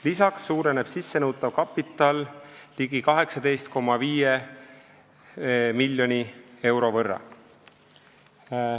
Lisaks suureneb sissenõutav kapital ligi 18,5 miljoni euro võrra.